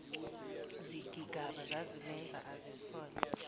zigigaba zazimenza azisole